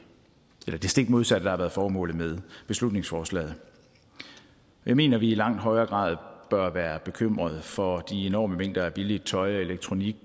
stik modsatte der har været formålet med beslutningsforslaget jeg mener at vi i langt højere grad bør være bekymret for de enorme mængder af billigt tøj og elektronik